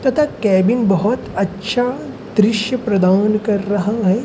तथा केबिन बहुत अच्छा दृश्य प्रदान कर रहा है।